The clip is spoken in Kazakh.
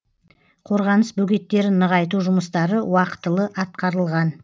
қорғаныс бөгеттерін нығайту жұмыстары уақытылы атқарылған